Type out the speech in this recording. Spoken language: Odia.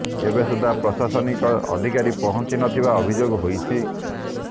ଏବେ ସୁଦ୍ଧା ପ୍ରଶାସନିକ ଅଧିକାରୀ ପହଞ୍ଚି ନଥିବା ଅଭିଯୋଗ ହୋଇଛି